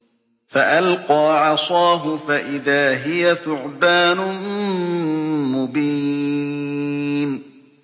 فَأَلْقَىٰ عَصَاهُ فَإِذَا هِيَ ثُعْبَانٌ مُّبِينٌ